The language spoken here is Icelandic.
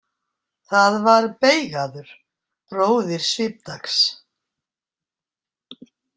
Það var Beigaður, bróðir Svipdags.